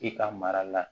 I ka mara la